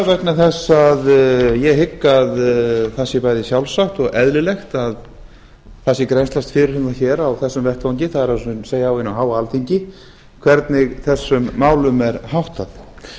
vegna þess að ég hygg að það sé bæði sjálfsagt og eðlilegt að það sé grennslast fyrir um það hér á þessum vettvangi það er á hinu háa alþingi hvernig þessum málum er háttað